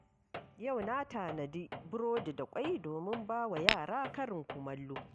Yau na tanadi burodi da ƙwai domin ba wa yara karin kumallo.